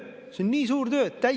See on nii suur töö!